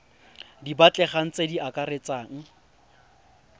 di batlegang tse di akaretsang